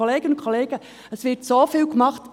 Kolleginnen und Kollegen, es wird so vieles getan.